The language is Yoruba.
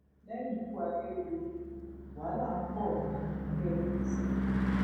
lẹyìn ikú akérèdọlù wàhálà ń bọ nínú ẹgbẹ apc ondo